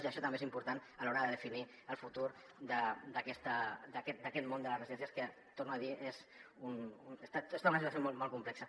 i això tam·bé és important a l’hora de definir el futur d’aquest món de les residències que ho torno a dir està en una situació molt complexa